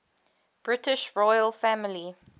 british royal family